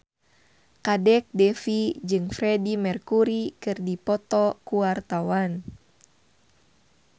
Kadek Devi jeung Freedie Mercury keur dipoto ku wartawan